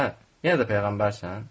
Hə, yenə də peyğəmbərsən?